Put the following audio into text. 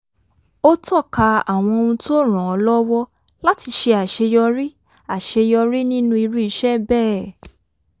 ó tọ́ka àwọn ohun tó ràn án lọ́wọ́ láti ṣe àṣeyọrí àṣeyọrí nínú irú iṣẹ́ bẹ́ẹ̀